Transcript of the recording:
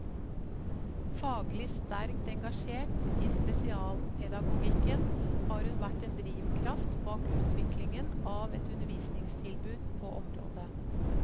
Faglig sterkt engasjert i spesialpedagogikken har hun vært en drivkraft bak utviklingen av et undervisningstilbud på området.